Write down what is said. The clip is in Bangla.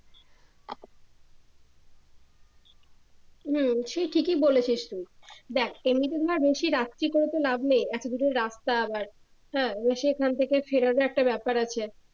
হম সে ঠিকই বলেছিস তুই দেখ এমনিতে ধর বেশি রাত্রি করে তো লাভ নেই এতো দূরের রাস্তা আবার হ্যা সেখান থেকে ফেরাটা একটা ব্যাপার আছে